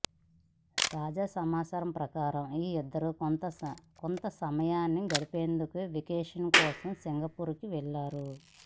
తాజా సమాచారం ప్రకారం ఈ ఇద్దరు కొంత సమయాన్ని గడిపేందుకు వెకేషన్ కోసం సింగపూర్ కి వెళ్లారు